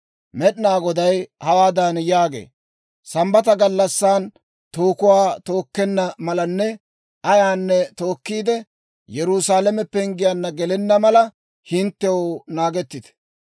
Med'inaa Goday hawaadan yaagee; «Sambbata gallassan tookuwaa tookkenna malanne ayaanne tookkiide, Yerusaalame penggiyaanna gelenna mala, hinttew naagettite!